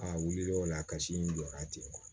A wulila o la a kasi in jɔra ten